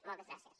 moltes gràcies